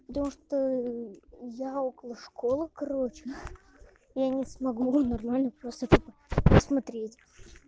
я около школы короче я не смогу нормально просто смотреть